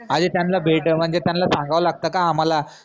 आनि त्यांला म्हनजे त्यांला सांगावं लागत का? आम्हाला